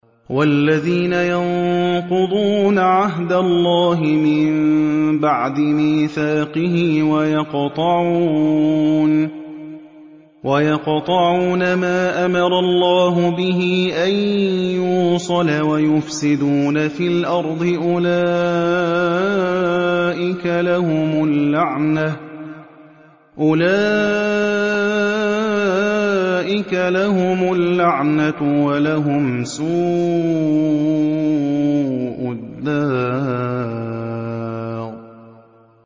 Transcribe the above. وَالَّذِينَ يَنقُضُونَ عَهْدَ اللَّهِ مِن بَعْدِ مِيثَاقِهِ وَيَقْطَعُونَ مَا أَمَرَ اللَّهُ بِهِ أَن يُوصَلَ وَيُفْسِدُونَ فِي الْأَرْضِ ۙ أُولَٰئِكَ لَهُمُ اللَّعْنَةُ وَلَهُمْ سُوءُ الدَّارِ